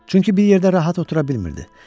Çünki bir yerdə rahat otura bilmirdi.